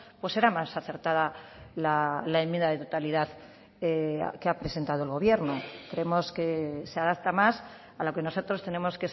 pues era más acertada la enmienda de totalidad que ha presentado el gobierno creemos que se adapta más a lo que nosotros tenemos